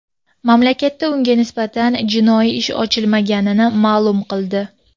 mamlakatda unga nisbatan jinoiy ish ochilmaganini ma’lum qildi.